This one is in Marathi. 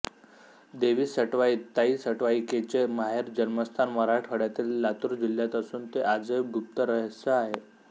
देवी सटवाई ताई सटवीकेचे माहेर जन्मस्थान मराठवाड्यातील लातूर जिल्ह्यात असुन ते आजही गुप्त रहस्य आहे